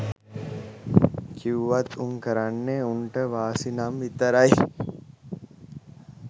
කිව්වත් උන් කරන්නේ උන්ට වාසි නම් විතරයි